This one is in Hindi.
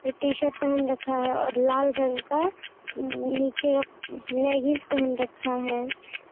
टी-शर्ट पेहेन रखा है और लाल रंग का उम नीचे लेगिंस पहेन रखा है ।